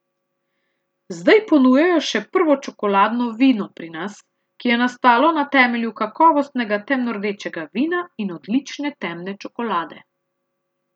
Zdaj ponujajo še prvo čokoladno vino pri nas, ki je nastalo na temelju kakovostnega temnordečega vina in odlične temne čokolade.